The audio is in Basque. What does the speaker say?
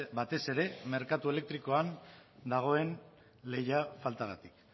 batez ere merkatu elektrikoan dagoen lehia faltagatik